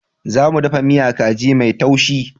Za mu ɗafa miya kaji mai taushi.